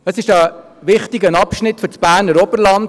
Es ist ein wichtiger Abschnitt für das Berner Oberland.